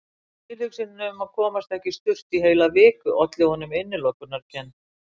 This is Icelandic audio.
Tilhugsunin um að komast ekki í sturtu í heila viku olli honum innilokunarkennd.